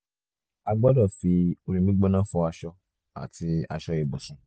a gbọ́dọ̀ fi omi gbígbóná fọ aṣọ àti aṣọ ibùsùn